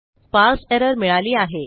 parse error मिळाली आहे